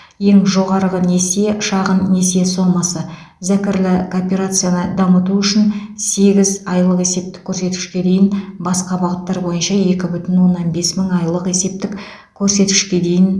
ең жоғарғы несие шағын несие сомасы зәкірлі кооперацияны дамыту үшін сегіз айлық есептік көрсеткішке дейін басқа бағыттар бойынша екі бүтін оннан бес мың айлық есептік көрсеткішке дейін